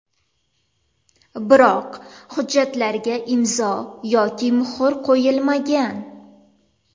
Biroq hujjatlarga imzo yoki muhr qo‘yilmagan.